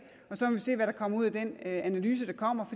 og så må vi se hvad der kommer ud af den analyse der kommer